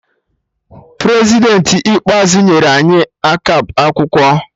Prezidentị ikpeazụ nyere anyi akap akwụkwọ